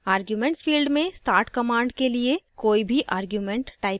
arguments field में start command के लिए कोई भी arguments type करें